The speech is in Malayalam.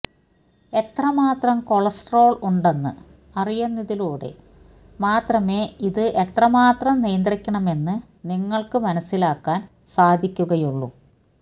എത്രമാത്രം കൊളസ്ട്രോള് ഉണ്ടെന്ന് അറിയുന്നതിലൂടെ മാത്രമേ ഇത് എത്രമാത്രം നിയന്ത്രിക്കണമെന്ന് നിങ്ങള്ക്ക് മനസ്സിലാക്കാന് സാധിക്കുകയുള്ളൂ